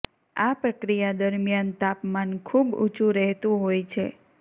આ પ્રક્રિયા દરમિયાન તાપમાન ખૂબ ઉંચુ રહેતુ હોય છે